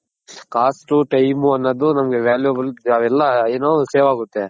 cost time ಅನ್ನೋದ್ ನನ್ಗೆ Valuable ಅವೆಲ್ಲ ಏನು save ಆಗುತ್ತೆ.